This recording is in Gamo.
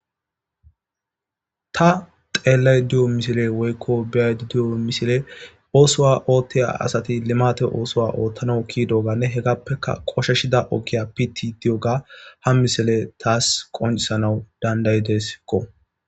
ta xeellay diyo misile woykko biyay di7o misile oosowa oothtiya asati limate oosowa oothtana ki dooganne hegappeka qosheshida okkiya piti diyoga ha misile taas qoncisanawu dandayidesekko